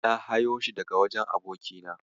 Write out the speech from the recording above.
Na hayo shi daga wajen abokina.